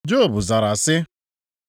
Job zara sị: